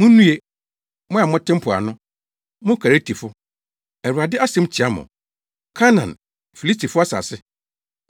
Munnue, mo a mote mpoano, mo Keretifo; Awurade asɛm tia mo. Kanaan, Filistifo asase.